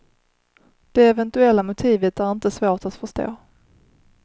Det eventuella motivet är inte svårt att förstå.